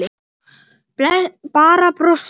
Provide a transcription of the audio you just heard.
Bara brosti.